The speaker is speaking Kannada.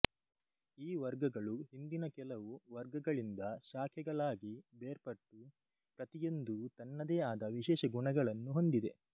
ಈ ವರ್ಗಗಳು ಹಿಂದಿನ ಕೆಲವು ವರ್ಗಗಳಿಂದ ಶಾಖೆಗಳಾಗಿ ಬೇರ್ಪಟ್ಟು ಪ್ರತಿಯೊಂದೂ ತನ್ನದೇ ಆದ ವಿಶೇಷ ಗುಣಗಳನ್ನು ಹೊಂದಿದೆ